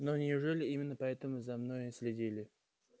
но неужели именно поэтому за мной следили